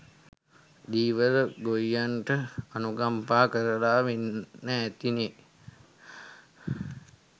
ධීවර ගොයියන්ට අනුකම්පා කරලා වෙන්නැති නේ?